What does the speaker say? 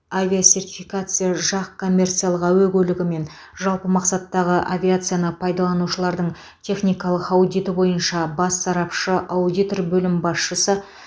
авиасертификация жақ коммерциялық әуе көлігі мен жалпы мақсаттағы авиацияны пайдаланушылардың техникалық аудиті бойынша бас сарапшы аудитор бөлім басшысы